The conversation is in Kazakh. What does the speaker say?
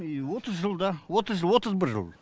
и отыз жылда отыз жыл отыз бір жыл